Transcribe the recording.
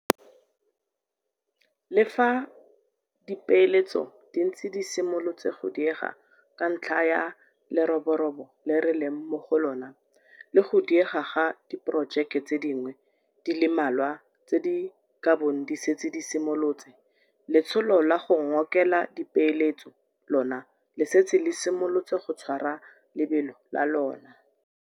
Le fa dipeeletso di ntse di simolotse go diega ka ntlha ya leroborobo le re leng mo go lona, le go diega ga diporojeke tse dingwe di le mmalwa tse di kabong di setse di simolotse, letsholo la go ngokela dipeeletso lona le setse le simolotse go tshwara lebelo la lona.